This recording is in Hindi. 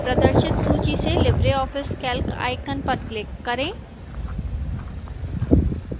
प्रदर्शित सूची से libreoffice calc icon पर click करें